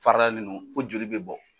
Farada ninnu fo joli bɛ bɔ.